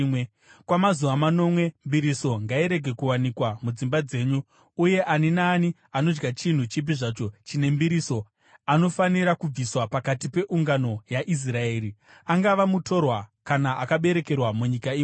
Kwamazuva manomwe, mbiriso ngairege kuwanikwa mudzimba dzenyu. Uye ani naani anodya chinhu chipi zvacho chine mbiriso anofanira kubviswa pakati peungano yaIsraeri, angava mutorwa kana akaberekerwa munyika imomo.